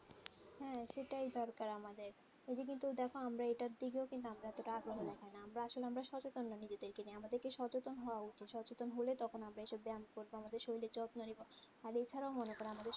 হ্যাঁ সেটাই দরকার আমাদের এদিকে তো দেখ আমরা এটার দিকেও আমরা কিন্তু এতটা আগ্রহ দেখাই না আমরা আসলে আমরা সচেতন না নিজেদেরকে নিয়ে আমাদেরকে সচেতন হওয়া উচিত সচেতন হলে তখন আমরা এইসব ব্যায়াম করব আমাদের শরীরের যত্ন নিব আর এছাড়াও মনে কর আমাদের